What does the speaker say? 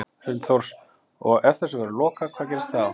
Hrund Þórsdóttir: Og ef þessu verður lokað hvað gerist þá?